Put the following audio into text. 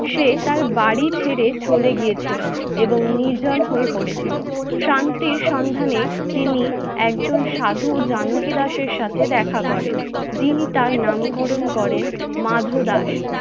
সে তার বাড়ি ছেড়ে চলে গিয়েছিলো এবং নির্জন হয়ে পড়েছিল। শান্তির সন্ধানে তিনি একজন সাধু জানকী দাসের সাথে দেখা করে, যিনি তার নামকরণ করেন মাধ দাস।